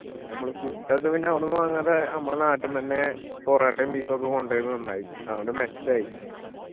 പിന്നെ ഞമ്മള് food ഒക്കെ പിന്ന അവടന്ന് വാങ്ങാതെ നമ്മളെ നാട്ടിന്നെന്നെ പൊറോട്ടയും beef ഒക്കെ കൊണ്ടോയതും നന്നായി അതോണ്ട് മെച്ചായി